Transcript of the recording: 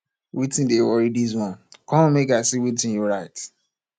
wetin dey worry dis one come make i see wetin you write